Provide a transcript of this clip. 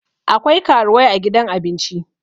akwai karuwai a gidan abinci